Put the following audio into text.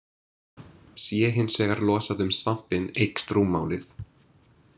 Sé hins vegar losað um svampinn eykst rúmmálið.